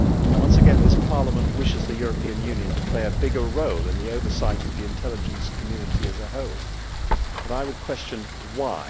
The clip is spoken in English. Once again, this Parliament wishes the European Union to play a bigger role in the oversight of the intelligence community as a whole, but I would question why?